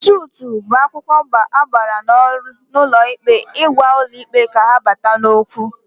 Sutụ bụ akwụkwọ agbara n'ụlọ ikpe ịgwa ụlọ ikpe ka ha bata n'okwu